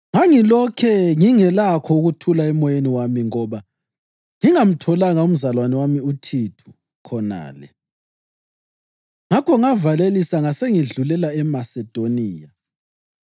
ngangilokhe ngingelakho ukuthula emoyeni wami ngoba ngingamtholanga umzalwane wami uThithu khonale. Ngakho ngavalelisa ngasengisedlulela eMasedoniya.